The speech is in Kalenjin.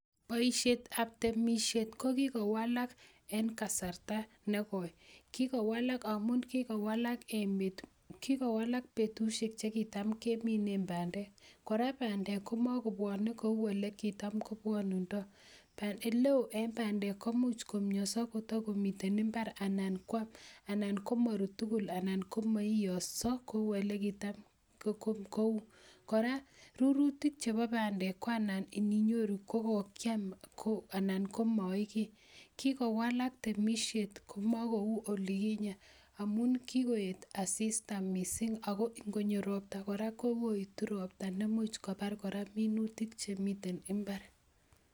Boisiet ab temisiet ko kikowalak en kasarta negoi, kikowalak amun kikowalak betusiek chekiton keminen bandeek, kora bandek komakobwone kou yekitom kobwonundoi, oleo en bandek komuch komioso kotokomiten imbar anan komorut tukul anan komoioso kou yekitom kou, kora minutik chebo bandek koanan ininyoru kokokiam anan komoi kii, kikowalak temisiet komokou yukinyen amun kikoet asista missing ago ing'onyo robta kora koetu robta nemuch kobar kora minutik chemiten imbar.